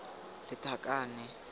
lethakane